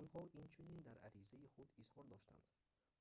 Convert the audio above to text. онҳо инчунин дар аризаи худ изҳор доштанд